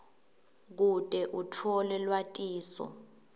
kute utfole lwatiso